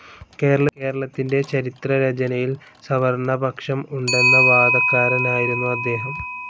കേരളത്തിന്റെ ചരിത്രരചനയിൽ സവർണപക്ഷം ഉണ്ടെന്ന വാദക്കാരനായിരുന്നു അദ്ദേഹം.